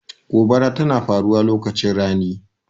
Gobara tana faruwa lokacin rani.